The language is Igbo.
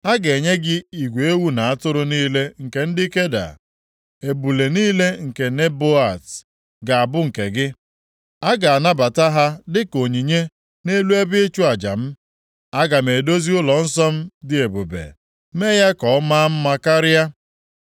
A ga-enye gị igwe ewu na atụrụ niile nke ndị Keda. Ebule niile nke Nebaiot ga-abụ nke gị. A ga-anabata ha dịka onyinye nʼelu ebe ịchụ aja m. Aga m edozi ụlọnsọ m dị ebube, mee ya ka ọ maa mma karịa.